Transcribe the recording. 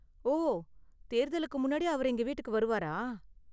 ஓ, தேர்தலுக்கு முன்னாடி அவர் எங்க வீட்டுக்கு வருவாரா?